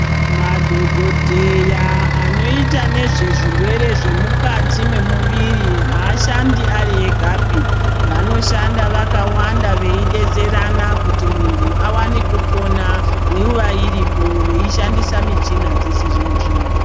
Madhokodheya anoita zvezve zvirwere Zvemukati memuviri avashandi vari Vegapi vanoshanda vakawanda veidetserana kuti muntu awane kupona ndivo vanenge varipo veishandisa michina yechizvino zvino.